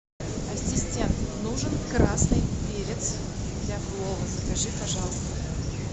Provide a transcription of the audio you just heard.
ассистент нужен красный перец для плова закажи пожалуйста